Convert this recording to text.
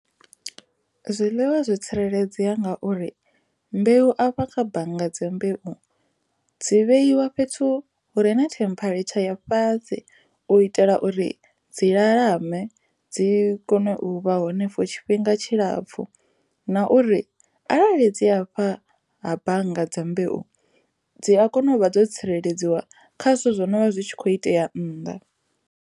Zwiḽiwa zwo tsireledzea ngauri mbeu afha kha bannga dzi mbeu dzi vheiwa fhethu hure na tampharetsha dza fhasi u itela uri dzi lalamisa dzi kone u vha henefho tshifhinga tshilapfu na uri arali dzi afha ha bannga dzi mbeu dzi a kona u vha dzo tsireledziwa kha zwithu zwo no vha zwi tshi kho itea nnḓa.